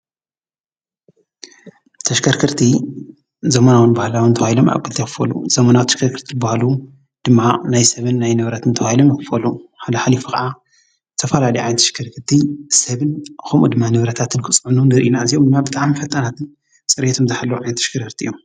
ተሽከርከርቲ ዘመናዊን ባህላዊን ተባሂሎም ኣብ ክልተ ይክፈሉ። ዘመናዊ ተሽከርከርቲ ዝበሃሉ ድማ ናይ ሰብን ንብረትን ተባሂሎም ይክፈሉ። ሓልሓሊፉ ከዓ ዝተፋላለዩ ዓይነት ተሽከርከርቲ ሰብን ከምኡ ድማ ንብረታትን ክፅዕኑ ንሪኢ ኢና። እዚኦም ድማ ብጣዕሚ ፈጣናትን ፅሬቶምን ዝሓለውን ዓይነት ተሽከርከርቲ እዮም።